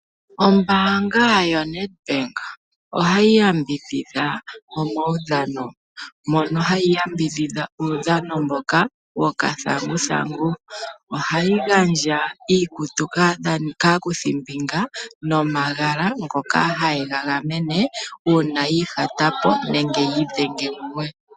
Ombaanga yoNedbank ohayi yambidhidha omaudhano. Mono hayi yambidhidha uudhano mboka gokathanguthangu. Ohayi gandja iikutu kaakuthimbinga nomagala ngoka haye ga gamene uuna yi ihata po nenge yi idhenge mumwe.